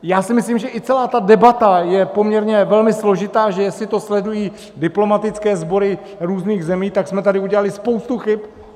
Já si myslím, že i celá ta debata je poměrně velmi složitá, že jestli to sledují diplomatické sbory různých zemí, tak jsme tady udělali spoustu chyb.